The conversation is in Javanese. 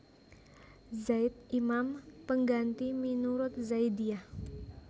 Zaid imam pangganti minurut Zaidiyah